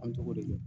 An tɔgɔ de ye